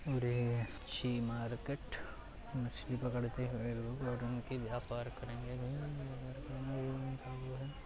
और ये मच्छी मार्केट । मछली पकड़ते हुए लोग और उनके व्यापार करेंगे। --